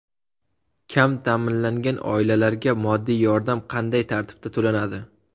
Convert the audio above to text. Kam ta’minlangan oilalarga moddiy yordam qanday tartibda to‘lanadi?.